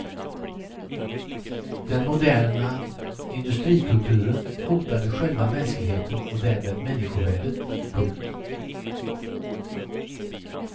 Den moderna industrikulturen hotade själva mänskligheten och därmed människovärdet. punkt